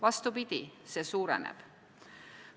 Vastupidi, see suureneb.